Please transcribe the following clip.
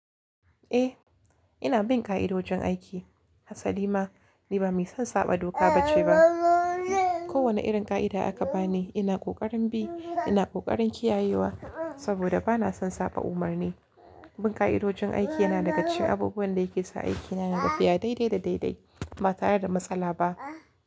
Eh ina bin ƙa'idojin aiki. Hasali ma ni ba mai son saɓa doka ba ce ba. Ko wane irin ƙa'ida aka bani ina ƙoƙarin bi, ina ƙoƙarin kiyayewa saboda ba na son saɓa umarni. Bin ƙa'idojin aiki yana dagacikin abubuwan da yake sa aikina ya tafiya daidai da daidai ba tare da matsala ba.